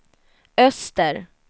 öster